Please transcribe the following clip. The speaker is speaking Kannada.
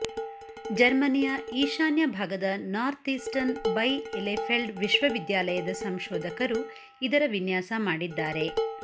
ಜರ್ಮನಿಯ ಈಶಾನ್ಯ ಭಾಗದ ನಾರ್ತ್ಈಸ್ಟರ್ನ್ ಬೈಎಲೆಫೆಲ್ಡ್ ವಿಶ್ವವಿದ್ಯಾಲಯದ ಸಂಶೋಧಕರು ಇದರ ವಿನ್ಯಾಸ ಮಾಡಿದ್ದಾರೆ